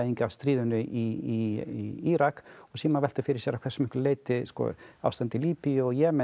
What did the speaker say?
af stríðinu í Írak síðan má velta fyrir sér að hversu miklu leyti ástandið í Líbíu og Jemen